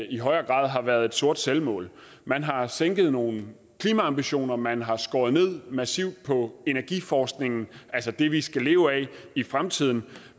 i højere grad har været et sort selvmål man har sænket nogle klimaambitioner man har skåret massivt ned på energiforskningen altså det vi skal leve af i fremtiden